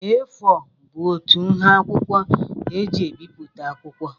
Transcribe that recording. A4 bụ otú nha akwụkwọ e ji ebipụta akwụkwọ.